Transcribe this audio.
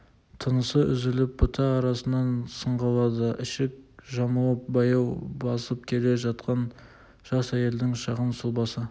тынысы үзіліп бұта арасынан сығалады ішік жамылып баяу басып келе жатқан жас әйелдің шағын сұлбасы